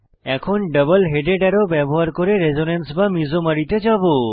এখন double headed arrow ব্যবহার করে রেসোনেন্স অনুরণন বা মিসোম্যারিতে যাবো